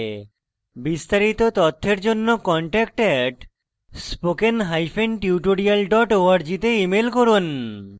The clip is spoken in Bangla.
বিস্তারিত তথ্যের জন্য contact @spokentutorial org তে ইমেল করুন